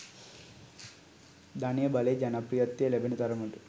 ධනය බලය ජනප්‍රියත්වය ලැබෙන තරමට